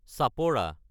চাপৰা